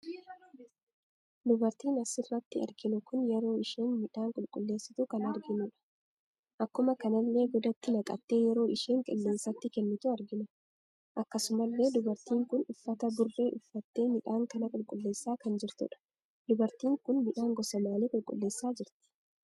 Dubartin asirratti arginu kun yeroo isheen miidhan qulleessitu kan arginudha. Akkuma kanallee godatti naqatte yeroo isheen qilleensatti kennitu argina. Akkasumallee dubartiin kun uffata burre uffatte miidhan kana qulleessa kan jirtudha. Dubatiin kun miidhaan gosa maalii qulleessa jirti?